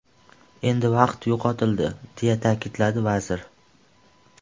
Endi vaqt yo‘qotildi”, deya ta’kidladi vazir.